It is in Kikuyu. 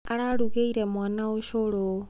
Ararugĩire mwana ũcũrũ.